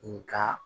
N ka